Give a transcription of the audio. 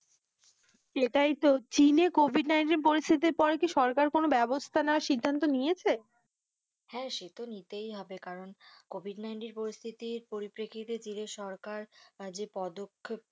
এটাই তো চীনে COVID nineteen পরিস্থিতির পরে কি সরকার কোনো ব্যবস্থা নেওয়ার সিদ্ধান্ত নিয়েছে, হ্যাঁ, সে তো নিতেই হবে কারণ COVID nineteen পরিস্তিতির পরিপেক্ষিতের দিকে সরকার যে পদক্ষেপ গুলো,